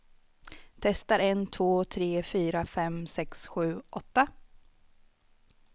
Testar en två tre fyra fem sex sju åtta.